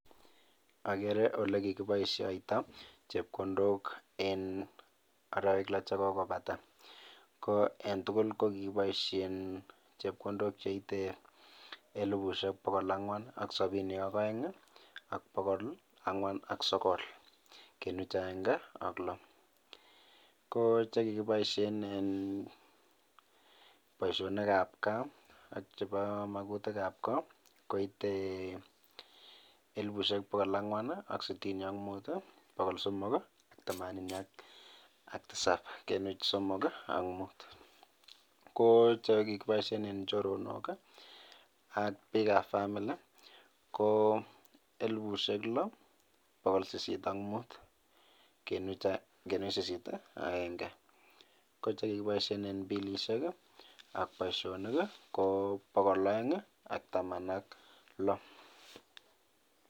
Agere ole kikiboishoito chepkondok en arawek lo che kokobata. Ko en tuguk ko kikiboisien chepkondok che itei elebushek pokol angwan ak sabini ak oeng ak pokol angwan ak sogol kenuch agenge ak lo. Ko che kikiboisien en boisionik ab gaa ak chebo makutik ab ko koitei eblebushek pokol angwan ak sitini ak mut, pokol somok themanini ak tisap kenuch somok ak mut. Ko che kikiboisien en choronok ak bik ab family ko elebushek lo, pokol sisit ak mut kenuch sisit ak agenge. Ko che kikiboisien en bilishek ak boisionik ko pokol oeng ak taman ak lo.